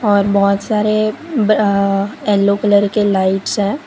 और बहोत सारे अ येल्लो कलर के लाइट्स है।